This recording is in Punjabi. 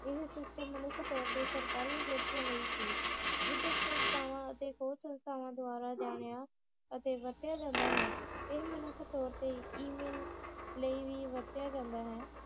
ਇਹ system ਮਨੁੱਖ ਤੌਰ ਤੇ ਸਰਕਾਰੀ ਏਜੇਂਸੀਆਂ ਲਈ ਸੀ ਸੰਸਥਾਵਾਂ ਅਤੇ ਹੋਰ ਸੰਸਥਾਵਾਂ ਦਵਾਰਾ ਜਾਣਿਆ ਅਤੇ ਵਰਤਿਆ ਜਾਂਦਾ ਹੈ ਇਹ ਮਨੁੱਖ ਤੌਰ ਤੇ ਈ-ਮੇਲ ਲਈ ਵੀ ਵਰਤਿਆ ਜਾਂਦਾ ਹੈ